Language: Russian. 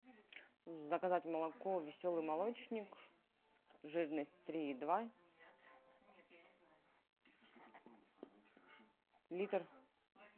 заказать молоко веселый молочник жирность три и два литр